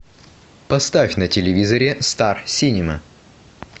поставь на телевизоре стар синема